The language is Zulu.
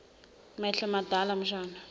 mehlo madala mshana